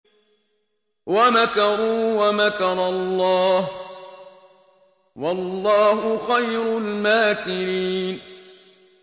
وَمَكَرُوا وَمَكَرَ اللَّهُ ۖ وَاللَّهُ خَيْرُ الْمَاكِرِينَ